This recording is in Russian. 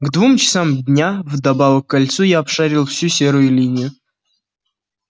к двум часам дня вдобавок к кольцу я обшарил всю серую линию